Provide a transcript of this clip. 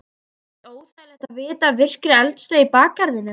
Er ekkert óþægilegt að vita af virkri eldstöð í bakgarðinum?